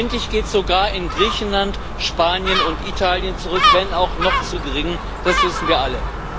Endlich geht sie sogar in Griechenland, Spanien und Italien zurück wenn auch noch zu gering, das wissen wir alle.